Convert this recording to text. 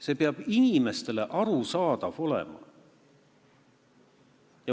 See peab olema inimestele arusaadav.